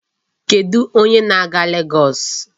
Kedụ onye na-aga Legọọsị?